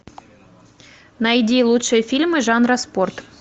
найди лучшие фильмы жанра спорт